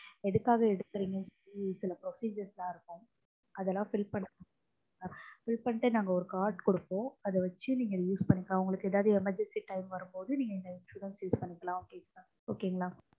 எதுக்காக எடுக்கறீங்க சில procedures லாம் இருக்கும். அதெல்லாம் fill பண்ணனும். fill பண்ணிட்டு நாங்க ஒரு card கொடுப்போம். அத வச்சு நீங்க use பண்ணிக்கலாம். உங்களுக்கு emergency time வரும்போது நீங்க இந்த insurance use பண்ணிக்கலாம்